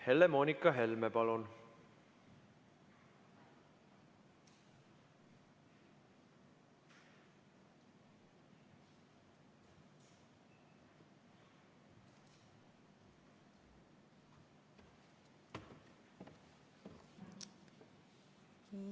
Helle-Moonika Helme, palun!